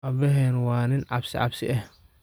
Abahena wa nin cabsi cabsi eh.